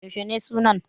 Yaushe ne sunan?